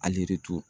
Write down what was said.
Alitu